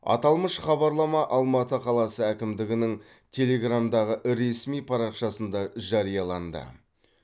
аталмыш хабарлама алматы қаласы әкімдігінің телеграмдағы ресми парақшасында жарияланды